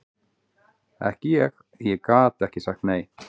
Ekki ég, ég gat ekki sagt nei.